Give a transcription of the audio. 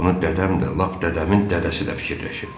bunu dədəm də, lap dədəmin dədəsi də fikirləşib.